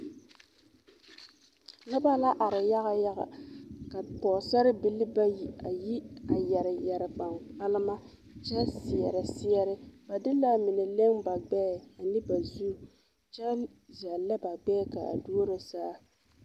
Noba la are yaga yaga ka pɔgesarebilii bayi a yi yɛre yɛre kpankpalima kyɛ seɛrɛ seɛre ba de l,a mine leŋ ba gbɛɛ ne ba zu kyɛ zɛllɛ ba gbɛɛ k,a duoro saa.